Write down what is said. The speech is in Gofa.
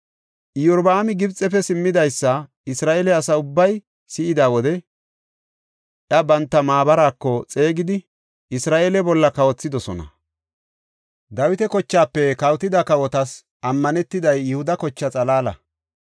Iyorbaami Gibxefe simmidaysa Isra7eele asa ubbay si7ida wode iya banta maabaraako xeegidi Isra7eele bolla kawothidosona. Dawita kochaafe kawotida kawotas ammanetiday Yihuda kochaa xalaala.